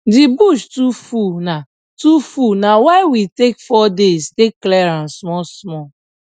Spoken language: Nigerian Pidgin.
the bush too full na too full na why we take four days clear am small small